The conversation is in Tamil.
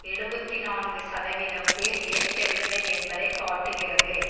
எழுபத்தி நான்கு சதவீதம் பேர் ஏற்கவில்லை என்பதை காட்டுகிறது